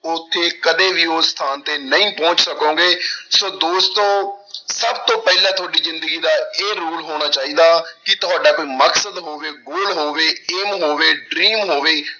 ਉੱਥੇ ਕਦੇ ਵੀ ਉਸ ਥਾਂ ਤੇ ਨਹੀਂ ਪਹੁੰਚ ਸਕੋਂਗੇ ਸੋ ਦੋਸਤੋ ਸਭ ਤੋਂ ਪਹਿਲਾਂ ਤੁਹਾਡੀ ਜ਼ਿੰਦਗੀ ਦਾ ਇਹ rule ਹੋਣਾ ਚਾਹੀਦਾ ਕਿ ਤੁਹਾਡਾ ਕੋਈ ਮਕਸਦ ਹੋਵੇ goal ਹੋਵੇ aim ਹੋਵੇ dream ਹੋਵੇ।